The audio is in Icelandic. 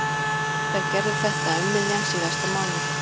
Þær gerðu þetta um miðjan síðasta mánuð.